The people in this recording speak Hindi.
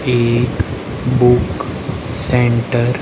एक बुक सेंटर --